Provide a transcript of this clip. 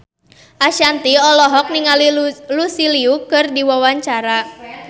Ashanti olohok ningali Lucy Liu keur diwawancara